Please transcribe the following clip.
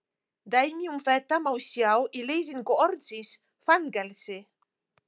Dæmi um þetta má sjá í lýsingu orðsins fangelsi: